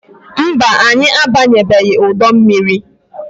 Mba, anyị abanyebeghi udu mmiri.